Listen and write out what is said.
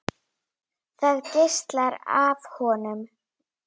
Það geislar af honum.